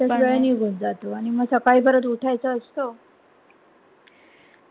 त्यात वेळ निगुन जातो आणि मग सकाळी परत उठायच असतो